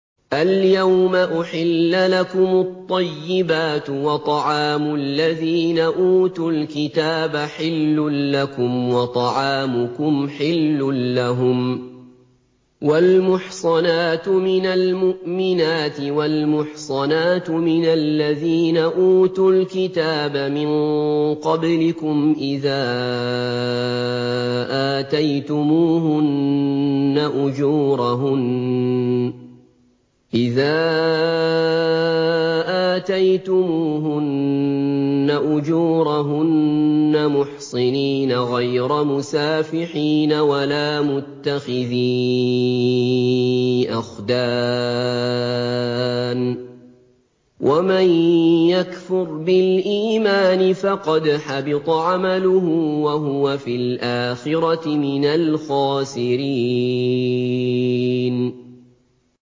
الْيَوْمَ أُحِلَّ لَكُمُ الطَّيِّبَاتُ ۖ وَطَعَامُ الَّذِينَ أُوتُوا الْكِتَابَ حِلٌّ لَّكُمْ وَطَعَامُكُمْ حِلٌّ لَّهُمْ ۖ وَالْمُحْصَنَاتُ مِنَ الْمُؤْمِنَاتِ وَالْمُحْصَنَاتُ مِنَ الَّذِينَ أُوتُوا الْكِتَابَ مِن قَبْلِكُمْ إِذَا آتَيْتُمُوهُنَّ أُجُورَهُنَّ مُحْصِنِينَ غَيْرَ مُسَافِحِينَ وَلَا مُتَّخِذِي أَخْدَانٍ ۗ وَمَن يَكْفُرْ بِالْإِيمَانِ فَقَدْ حَبِطَ عَمَلُهُ وَهُوَ فِي الْآخِرَةِ مِنَ الْخَاسِرِينَ